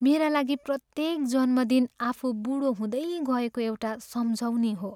मेरा लागि प्रत्येक जन्मदिन आफू बुढो हुँदै गएको एउटा सम्झउनी हो।